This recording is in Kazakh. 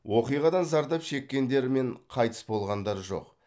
оқиғадан зардап шеккендер мен қайтыс болғандар жоқ